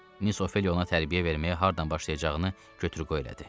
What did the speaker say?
Miss Ofeliya ona tərbiyə verməyə hardan başlayacağını götür-qoy elədi.